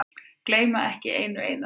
Gleyma ekki einu einasta.